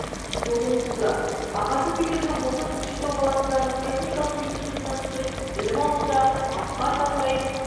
жолын қуды ағасы секілді ол да көкшетау қаласындағы техникалық институтына түсіп білім алуда асқар таудай